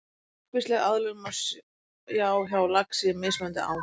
Margvíslega aðlögun má sjá hjá laxi í mismunandi ám.